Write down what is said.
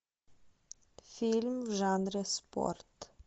фильм в жанре спорт